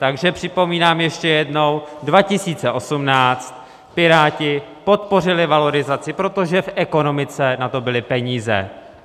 Takže připomínám ještě jednou: 2018, Piráti podpořili valorizaci, protože v ekonomice na to byly peníze.